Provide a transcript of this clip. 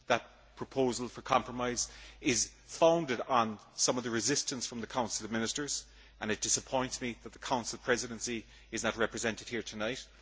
That proposal for compromise is founded on some of the resistance from the Council of Ministers, and it disappoints me that the Council Presidency is not represented here tonight.